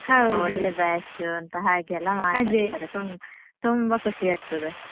ತುಂಬ ಒಳ್ಳೆ batch ಅಂತ ಹಾಗೆ ಎಲ್ಲ ಮಾತಾಡ್ತಾರೆ ತುಂಬ ತುಂಬ ಖುಷಿ ಆಗ್ತದೆ.